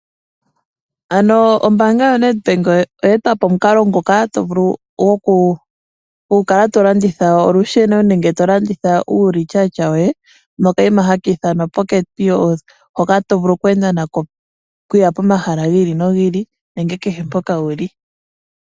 Ano ombaanga yo NedBank oya eta po omukalo ngoka gokukala to landitha olusheno nenge to landitha uulityatya woye, nokayima haka ithanwa PocketPos hoka to vulu oku enda nako okuya pomahala gi ili nogi ili, nenge kehe mpoka wuli.